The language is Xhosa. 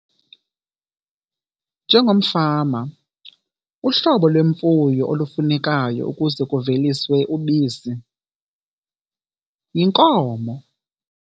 Njengomfama, uhlobo lwemfuyo olufunekayo ukuze kuveliswe ubisi yinkomo.